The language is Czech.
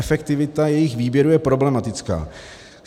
Efektivita jejich výběru je problematická.